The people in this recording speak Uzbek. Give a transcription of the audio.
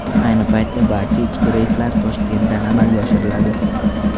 Ayni paytda barcha ishki reyslar Toshkentdan amalga oshiriladi.